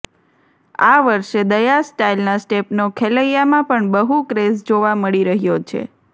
આ વર્ષે દયા સ્ટાઇલના સ્ટેપનો ખેલૈયામાં પણ બહુ ક્રેઝ જોવા મળી રહ્યો છે